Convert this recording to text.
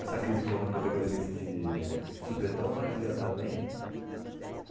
Essa crise econômica pegou ele meio que de supetão, mas já está bem.